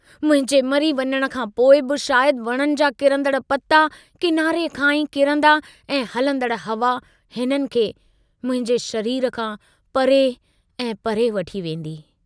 मुंहिंजे मरी वञण खां पोइ बि शायद वणनि जा किरन्दड़ पता किनारे खां ई किरन्दा ऐं हलंदड़ हवा हिननि खे मुंहिंजे शरीर खां परे ऐं परे वठी वेन्दी।